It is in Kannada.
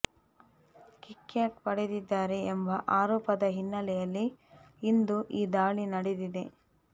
ಕಿಕ್ಬ್ಯಾಕ್ ಪಡೆದಿದ್ದಾರೆ ಎಂಬ ಆರೋಪದ ಹಿನ್ನೆಲೆಯಲ್ಲಿ ಇಂದು ಈ ದಾಳಿ ನಡೆದಿದೆ